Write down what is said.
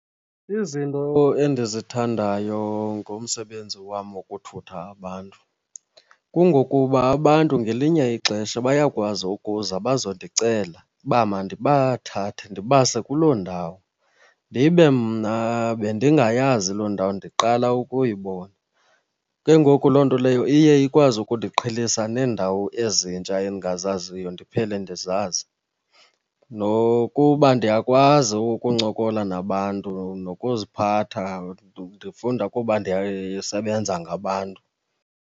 Izinto endizithandayo ngomsebenzi wam wokuthutha abantu kungokuba abantu ngelinye ixesha bayakwazi ukuza bazondicela uba mandibathathe ndibase kuloo ndawo, ndibe mna bendingayazi loo ndawo ndiqala ukuyibona. Ke ngoku loo nto leyo iye ikwazi ukundiqhelisa neendawo ezintsha endingazaziyo ndiphele ndizazi. Nokuba ndiyakwazi ukuncokola nabantu nokuziphatha, ndifunda kuba ndisebenza ngabantu.